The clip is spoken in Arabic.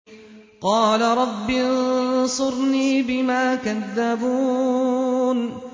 قَالَ رَبِّ انصُرْنِي بِمَا كَذَّبُونِ